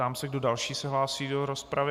Ptám se, kdo další se hlásí do rozpravy.